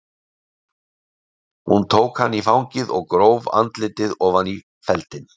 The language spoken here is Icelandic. Hún tók hann í fangið og gróf andlitið ofan í feldinn.